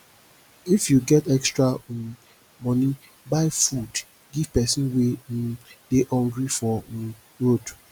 if you get extra um money buy food give person wey um dey hungry for um road